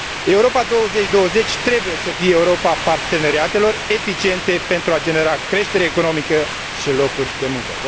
Europa 2020 trebuie să fie Europa parteneriatelor eficiente, pentru a genera creștere economică și locuri de muncă.